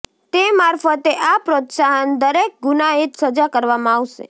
તે મારફતે આ પ્રોત્સાહન દરેક ગુનાહિત સજા કરવામાં આવશે